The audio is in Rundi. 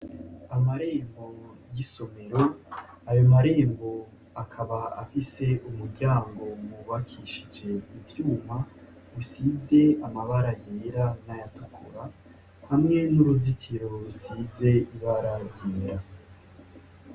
Amarembo y'isomero ayomarembo akaba afise umuryango bubakishije ivyuma usize amabara yera n'ayatukura hamwe n'uruzitsiro rusize ibara ryera.